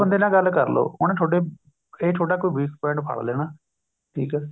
ਬੰਦੇ ਨਾਲ ਗੱਲ ਕਰਲੋ ਉਹਨੇ ਥੋਡੇ ਇਹ ਤੁਹਾਡਾ ਕੋਈ weak point ਫੜ ਲੈਣਾ ਠੀਕ ਹੈ